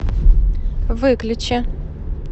выключи